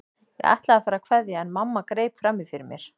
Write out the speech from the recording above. Ég ætlaði að fara að kveðja en mamma greip fram í fyrir mér.